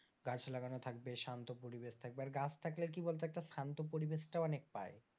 গাছ লাগানো থাকবে শান্ত পরিবেশ থাকবে আর গাছ থাকলে কি বলতো একটা শান্ত পরিবেশটাও অনেক পায়।